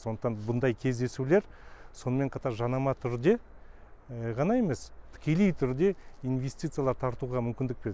сондықтан бұндай кездесулер сонымен қатар жанама түрде ғана емес тікелей түрде инвестициялар тартуға мүмкіндік береді